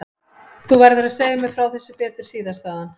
Þú verður að segja mér frá þessu betur síðar sagði hann.